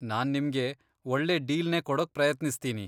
ನಾನ್ ನಿಮ್ಗೆ ಒಳ್ಳೆ ಡೀಲ್ನೇ ಕೊಡೋಕ್ ಪ್ರಯತ್ನಿಸ್ತೀನಿ.